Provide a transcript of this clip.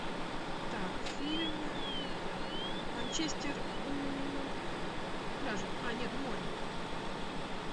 так фильм манчестер у пляжа а нет у моря